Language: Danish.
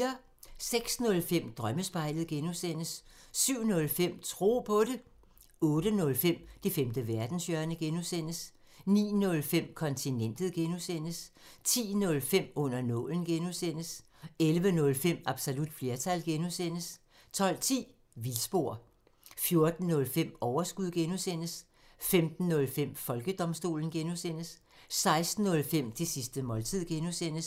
06:05: Drømmespejlet (G) 07:05: Tro på det 08:05: Det femte verdenshjørne (G) 09:05: Kontinentet (G) 10:05: Under nålen (G) 11:05: Absolut flertal (G) 12:10: Vildspor 14:05: Overskud (G) 15:05: Folkedomstolen (G) 16:05: Det sidste måltid (G)